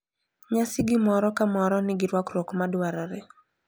Nyasi gi moro ka moro nigi rwakruok ma dwarore.